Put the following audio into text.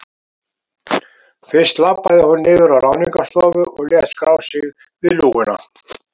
Fyrst labbaði hún niður á Ráðningarstofu og lét skrá sig við lúguna.